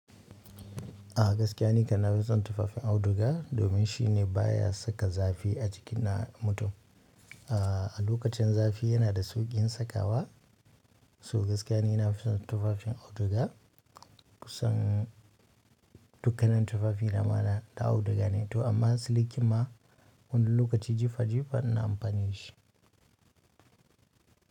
A gaskiya ni kan na fi son tufafin auduga domin shi ne baya saka zafi a jikin na mutum. A lokacin zafi yana da sauƙin sakawa. So gaskiya ni na fi son tufafin auduga kusan dukkanan tufafi na ma dlna auduga ne to amma siliki ma wani lokaci jifa jifa na amfani da shi.